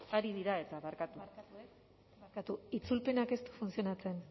ari dira eta barkatu itzulpenak ez du funtzionatzen